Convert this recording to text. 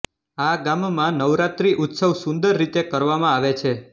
આ ગામમાં નવરાત્રી ઉત્સવ સુંદરરીતે કરવામાં આવે છે